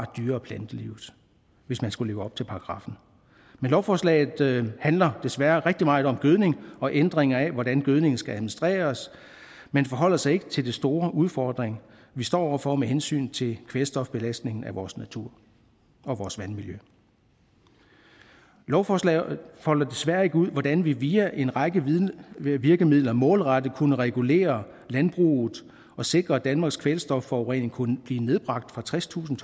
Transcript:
dyre og plantelivet hvis man skulle leve op til paragraffen men lovforslaget handler desværre rigtig meget om gødning og ændringer af hvordan gødningen skal administreres men forholder sig ikke til den store udfordring vi står over for med hensyn til kvælstofbelastningen af vores natur og vores vandmiljø lovforslaget folder desværre ikke ud hvordan vi via en række virkemidler målrettet kunne regulere landbruget og sikre at danmarks kvælstofforurening kunne blive nedbragt fra tredstusind